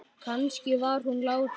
Kannski var hún látin.